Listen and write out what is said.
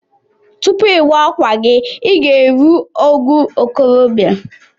Tupu iwa akwa gi iga erụ ogo okorobia.